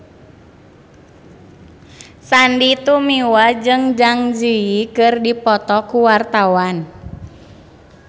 Sandy Tumiwa jeung Zang Zi Yi keur dipoto ku wartawan